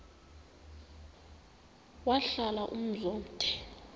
wahlala umzum omde